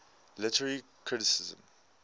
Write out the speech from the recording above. literary criticism